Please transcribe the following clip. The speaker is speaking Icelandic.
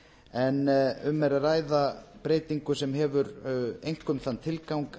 en um er að ræða breytingu sem hefur einkum þann tilgang